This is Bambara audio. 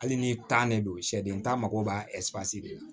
Hali ni de don sɛden ta mago b'a de la